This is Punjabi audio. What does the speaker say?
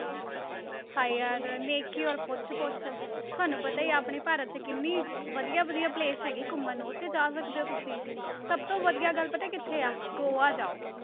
ਹਾਏ ਯਾਰ ਨੇਕੀ ਔਰ ਪੁੱਛ ਪੁੱਛ, ਤੁਹਾਨੂੰ ਪਤਾ ਹੀ ਆ ਆਪਣੇ ਭਾਰਤ 'ਚ ਕਿੰਨੀ ਵਧੀਆ ਵਧੀਆ place ਹੈਗੇ ਆ ਘੁੰਮਣ ਨੂੰ, ਉੱਥੇ ਜਾ ਸਕਦੇ ਹੋ ਤੁਸੀਂ, ਸਭ ਤੋਂ ਵਧੀਆ ਗੱਲ ਪਤਾ ਕਿੱਥੇ ਹੈ, ਗੋਆ ਜਾਓ।